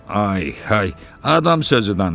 Ay hay, adam sözü danış.